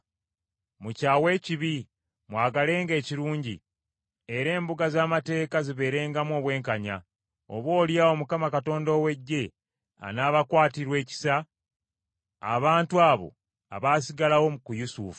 Mukyawe ekibi, mwagalenga ekirungi era embuga z’amateeka zibeerengamu obwenkanya. Oboolyawo Mukama Katonda ow’Eggye anaabakwatirwa ekisa abantu abo abaasigalawo ku Yusufu.